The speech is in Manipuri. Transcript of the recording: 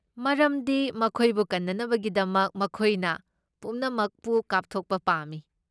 ꯃꯔꯝꯗꯤ ꯃꯈꯣꯏꯕꯨ ꯀꯟꯅꯕꯒꯤꯗꯃꯛ ꯃꯈꯣꯏꯅ ꯄꯨꯝꯅꯃꯛꯄꯨ ꯀꯥꯞꯊꯧꯛꯄ ꯄꯥꯝꯃꯤ꯫